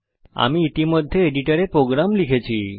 আমি ইতিমধ্যে এডিটরে প্রোগ্রাম লিখেছি